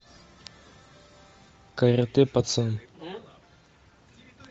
каратэ пацан